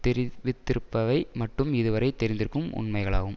தெரிவித்திருப்பவை மட்டும் இதுவரை தெரிந்திருக்கும் உண்மைகளாகும்